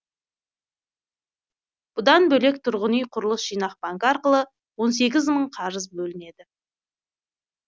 бұдан бөлек тұрғын үй құрылыс жинақ банкі арқылы он сегіз мың қарыз бөлінеді